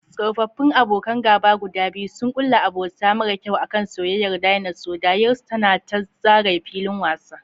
Tsofaffin abokan gaba guda biyu sun kulla abota mara kyau a kan soyayyar Dinosaur, dariyarsu tana ta zagaye filin wasa.